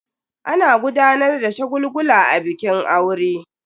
Ana gudanar da shagulgula a bikin aure.